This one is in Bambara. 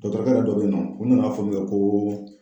Dɔkɔtɔrɔkɛ dɔ be yen nɔ k'a fɔ minkɛ k'o